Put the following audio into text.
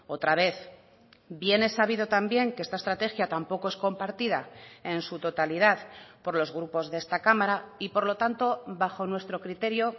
otra vez bien es sabido también que esta estrategia tampoco es compartida en su totalidad por los grupos de esta cámara y por lo tanto bajo nuestro criterio